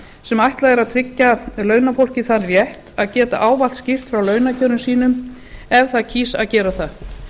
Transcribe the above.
sem ætlað er að tryggja launafólki þann rétt að geta ávallt skýrt frá launakjörum sínum ef það kýs að gera það